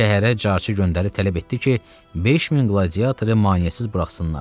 Şəhərə carçı göndərib tələb etdi ki, 5000 qladiatoru maneəsiz buraxsınlar.